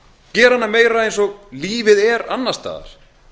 gera hana meira eins og lífið er annars staðar